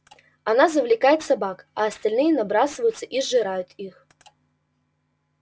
она завлекает собак а остальные набрасываются и сжирают их